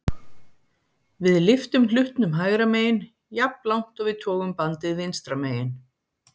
Við lyftum hlutnum hægra megin jafnlangt og við togum bandið vinstra megin.